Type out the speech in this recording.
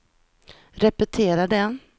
repetera det